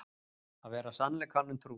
Að vera sannleikanum trú